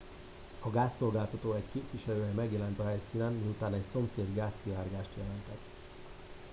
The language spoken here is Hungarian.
a gázszolgáltató egy képviselője megjelent a helyszínen miután egy szomszéd gázszivárgást jelentett